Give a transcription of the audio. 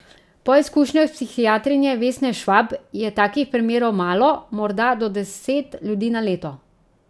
Po izkušnjah psihiatrinje Vesne Švab je takih primerov malo, morda do deset ljudi na leto.